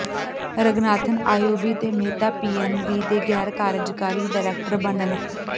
Ranganathan IOB ਤੇ Mehta PNB ਦੇ ਗ਼ੈਰ ਕਾਰਜਕਾਰੀ ਡਾਇਰੈਕਟਰ ਬਣ